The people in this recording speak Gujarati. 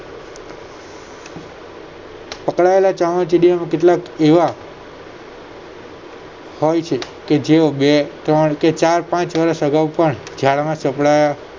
પકડાયેલા ચામાચીડિયાના કેટલાક એવા હોય છે કે જેઓ બે ત્રણ કે ચાર પાંચ વર્ષ અગાવ પણ જાળ માં સંપડાયાં